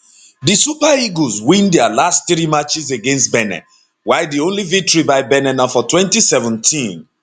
di super eagles win dia last three matches against benin while di only victory by benin na for 2017